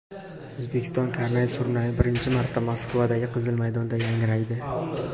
O‘zbekiston karnay-surnayi birinchi marta Moskvadagi Qizil maydonda yangraydi .